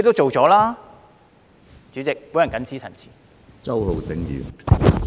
主席，我謹此陳辭。